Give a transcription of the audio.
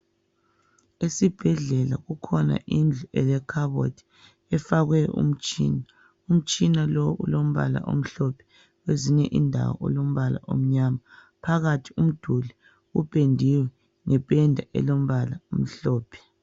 Esibhedlela kukhona indlu elekhabothi efakwe umtshini. Umtshina lo ulombala omhlophe kwezinye indawo ulombala omnyama. Phakathi umduli upendiwe ngependa elombala omhlophe.